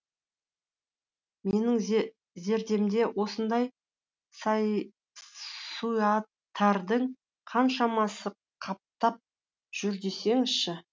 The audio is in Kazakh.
менің зердемде осындай суайттардың қаншамасы қаптап жүр десеңізші